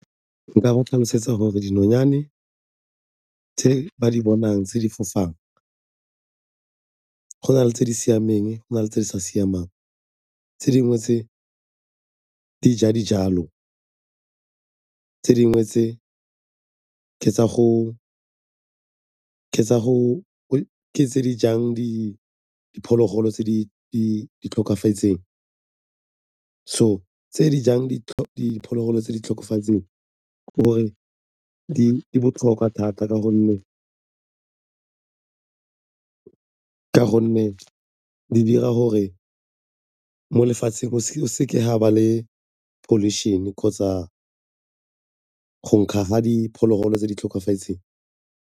Nka go tlhalosetsa gore dinonyane tse ba di bonang tse di fofang go na le tse di siameng, go na le tse di sa siamang. Se dingwe tse di ja dijalo, tse dingwe tse ke tse di jang diphologolo tse di tlhokafetseng. So, tse di jang diphologolo tse di tlhokofetseng ke gore di botlhokwa thata ka gonne mme di dira gore mo lefatsheng go seke ga ba le pollution-e kgotsa go nkga ga diphologolo tse di tlhokafetseng.